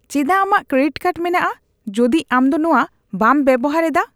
ᱪᱮᱫᱟᱜ ᱟᱢᱟᱜ credit card ᱢᱮᱱᱟᱜᱼᱟ ᱡᱩᱫᱤ ᱟᱢ ᱫᱚ ᱱᱚᱣᱟ ᱵᱟᱢ ᱵᱮᱵᱚᱦᱟᱨ ᱮᱫᱟ ?